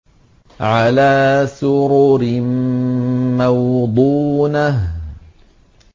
عَلَىٰ سُرُرٍ مَّوْضُونَةٍ